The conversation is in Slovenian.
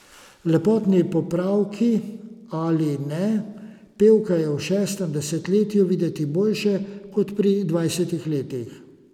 Lepotni popravki ali ne, pevka je v šestem desetletju videti bolje kot pri dvajsetih letih.